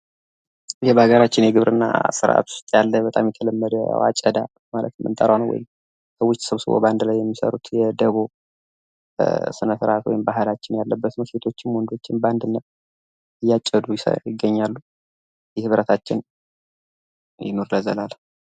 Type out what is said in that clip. ይህ በሀገራችን የግብርና ስርአት ውስጥ ያለ በጣም ተለመደ የአጨዳ በማለት የምንጠራው ነው። ሴቶችም ወንዶችም በአንድነት እያጨዱ ይገኛሉ። ይህ ህብረታችን ይኑር ለዘላለም!!